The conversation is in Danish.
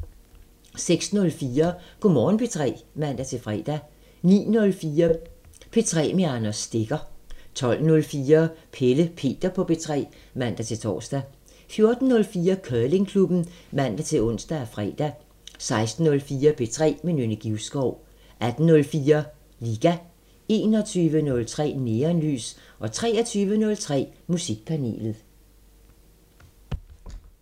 06:04: Go' Morgen P3 (man-fre) 09:04: P3 med Anders Stegger 12:04: Pelle Peter på P3 (man-tor) 14:04: Curlingklubben (man-ons og fre) 16:04: P3 med Nynne Givskov 18:04: Liga 21:03: Neonlys 23:03: Musikpanelet